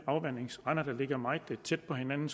afvandingsrender der ligger meget tæt på hinanden